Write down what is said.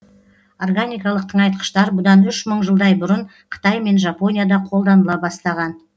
органикалық тыңайтқыштар бұдан үш мың жылдай бұрын қытай мен жапонияда қолданыла бастаған